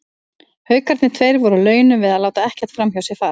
Haukarnir tveir voru á launum við að láta ekkert framhjá sér fara.